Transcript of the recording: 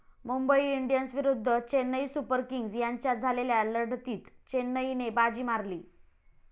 Mumbai Indians विरुद्ध Chennai Super Kings यांच्यात झालेल्या लढतीत चेन्नईने बाजी मारली.